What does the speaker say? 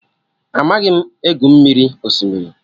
Amaghị m.egwu mmiri osimiri